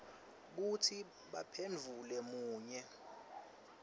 kutsi baphendvule munye